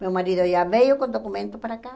Meu marido já veio com documento para cá.